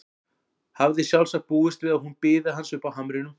Hafði sjálfsagt búist við að hún biði hans uppi á hamrinum.